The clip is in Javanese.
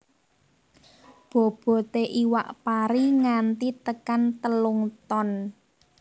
Boboté iwak pari nganti tekan telung ton